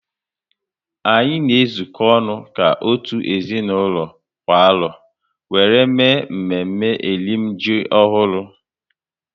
Anyị na ezuko ọnụ ka otu ezinaụlọ kwa arọ wéré mee mme mme eri m ji ọhụrụ